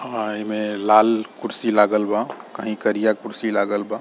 आ इमें लाल कुर्सी लागल बा कहीं करिया कुर्सी लागल बा।